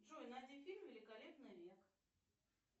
джой найди фильм великолепный век